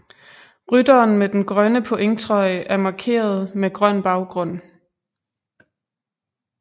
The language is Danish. Rytteren med den grønne pointtrøje er markeret med grøn baggrund